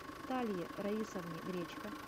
наталье раисовне гречко